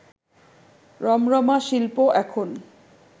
রমরমা শিল্প এখন